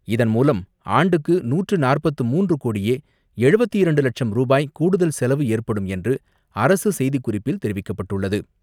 இதன்மூலம் ஆண்டுக்கு நூற்று நாற்பத்து மூன்று கோடியே எழுபத்து இரண்டு லட்சம் ரூபாய் கூடுதல் செலவு ஏற்படும் என்று அரசு செய்திக்குறிப்பில் தெரிவிக்கப்பட்டுள்ளது.